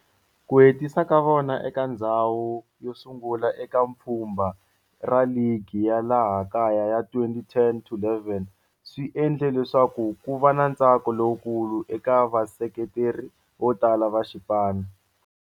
Ku hetisa ka vona eka ndzhawu yo sungula eka pfhumba ra ligi ya laha kaya ya 2010-11 swi endle leswaku kuva na ntsako lowukulu eka vaseketeri vo tala va xipano.